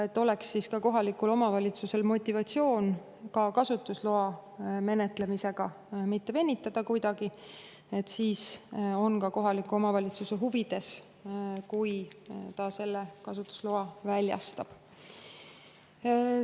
Et kohalikul omavalitsusel oleks motivatsiooni kasutusloa menetlemisega mitte venitada, siis on ka kohaliku omavalitsuse huvides see, kui ta selle kasutusloa väljastab.